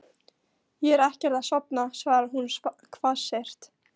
Ég er ekkert að sofna, svarar hún hvassyrt.